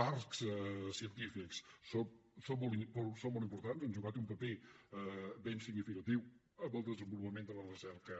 parcs científics són molt importants han jugat un paper ben significatiu en el desenvolupament de la recerca